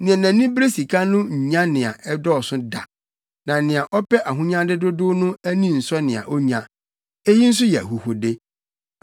Nea nʼani bere sika no nnya nea ɛdɔɔso da; na nea ɔpɛ ahonyade dodow no ani nsɔ nea onya. Eyi nso yɛ ahuhude.